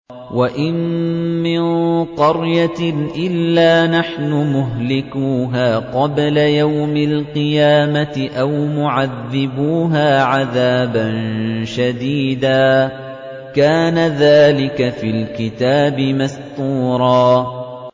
وَإِن مِّن قَرْيَةٍ إِلَّا نَحْنُ مُهْلِكُوهَا قَبْلَ يَوْمِ الْقِيَامَةِ أَوْ مُعَذِّبُوهَا عَذَابًا شَدِيدًا ۚ كَانَ ذَٰلِكَ فِي الْكِتَابِ مَسْطُورًا